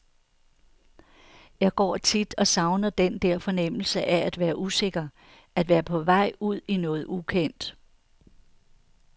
Jeg går tit og savner den der fornemmelse af at være usikker, at være på vej ud i noget ukendt.